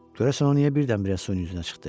Görəsən o niyə birdən-birə suyun üzünə çıxdı?